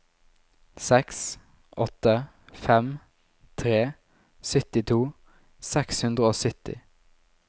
seks åtte fem tre syttito seks hundre og sytti